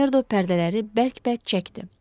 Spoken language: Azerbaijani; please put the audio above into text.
Makmerdo pərdələri bərk-bərk çəkdi.